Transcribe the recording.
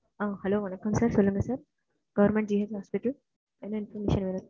அஹ் hello வணக்கம் sir சொல்லுங்க sir government GH hospital என்ன information வேணும்.